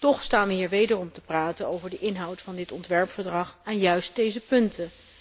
Toch staan we hier wederom te praten over de inhoud van dit ontwerpverdrag en juist deze punten.